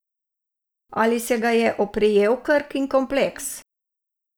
Ali se ga je oprijel Krkin kompleks?